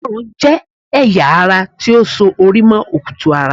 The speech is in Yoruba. Ọrùn jẹ́ ẹ̀yà ara ti ó so orí mọ́ okutu-ara